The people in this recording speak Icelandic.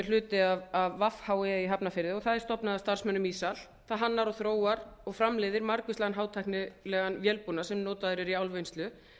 hluti af vhe í hafnarfirði og það er stofnað af starfsmönnum ísal það hannar og þróar og framleiðir margvíslega hátæknilegan vélbúnað sem notaður er í álvinnslu